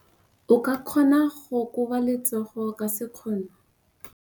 O ka kgona go koba letsogo ka sekgono.